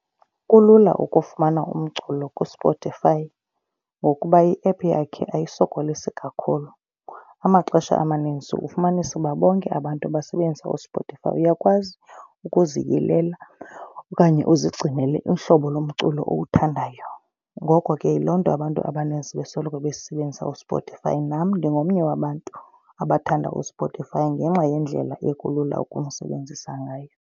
Kulula ukufumana umculo kuSpotify ngokuba iephu yakhe ayisokolisi kakhulu. Amaxesha amaninzi ufumanise uba bonke abantu basebenzisa uSpotify. Uyakwazi ukuziyilela okanye uzigcinela uhlobo lomculo owuthandayo. Ngoko ke yiloo nto abantu abaninzi besoloko besebenzisa uSpotify. Nam ndingomnye wabantu abathanda uSpotify ngenxa yendlela ekulula ukumsebenzisa ngayo.